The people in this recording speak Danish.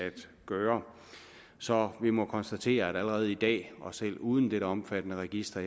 gøre så vi må konstatere at allerede i dag og selv uden dette omfattende register